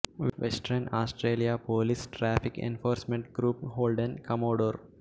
western Australia police traffic enforcement group Holden commodore